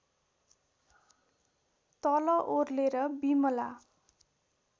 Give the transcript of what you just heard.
तल ओर्लेर बिमला